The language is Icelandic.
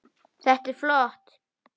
Þetta er flott.